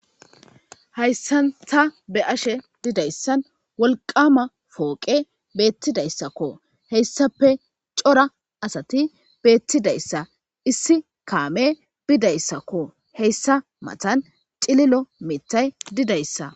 Hayssan ta be ashe didayssan wolqama fooqe beettidayssakko heyssape cora asati beettidayssa issi kaame bidayssakko heyssa matan cililo mitay didayssa